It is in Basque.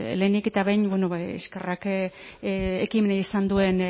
lehenik eta behin eskerrak ekimena izan duen